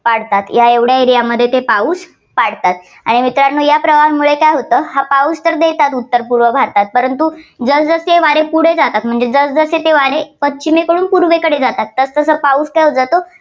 पाडतात. तर एवढ्या area मध्ये ते पाऊस पाडतात. आणि मित्रानो या प्रवाहामुळे काय होतं पाऊस तर देतात उत्तर पूर्व भारतात परंतु जसजसे हे वारे पुढे जातात. जसजसे ते वारे पश्चिमेकडून पूर्वेकडे जातात तसं तसा पाऊस काय होत जातो,